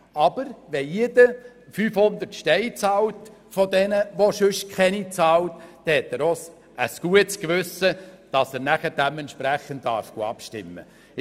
Aber wenn diejenigen, die sonst keine Steuern zahlen, 500 Franken zahlen, dann haben sie auch ein gutes Gewissen, wenn sie anschliessend dementsprechend abstimmen dürfen.